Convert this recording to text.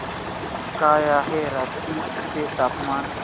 काय आहे रांची चे तापमान